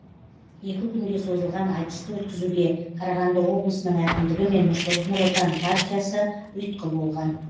екі күнге созылған айтысты өткізуге қарағанды облысының әкімдігі мен нұр отан партиясы ұйытқы болған